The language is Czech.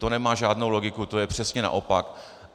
To nemá žádnou logiku, to je přesně naopak.